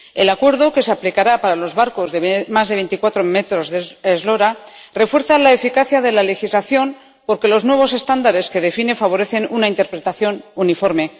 El acuerdo, que se aplicará para los barcos de más de 24 metros de eslora, refuerza la eficacia de la legislación porque los nuevos estándares que define favorecen una interpretación uniforme.